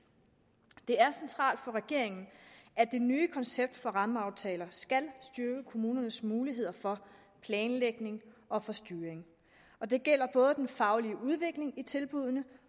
det er centralt for regeringen at det nye koncept for rammeaftaler skal styrke kommunernes muligheder for planlægning og for styring og det gælder både den faglige udvikling i tilbuddene